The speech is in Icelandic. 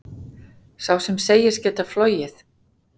Sá sem segist geta flogið,